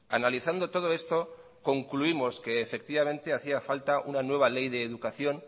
analizando todo esto concluimos que efectivamente hacía falta una nueva ley de educación